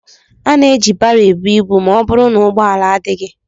Ana eji baro ebu ibu ma ọ bụrụ na ụgbọala adịghị.